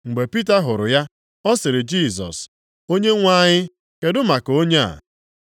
Mgbe Pita hụrụ ya, ọ sịrị Jisọs, “Onyenwe anyị kedụ maka onye a?”